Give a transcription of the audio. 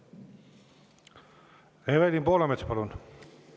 Evelin Poolamets, palun!